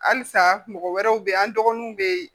Halisa mɔgɔ wɛrɛw bɛ yen an dɔgɔninw bɛ yen